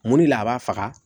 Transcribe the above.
Mun de la a b'a faga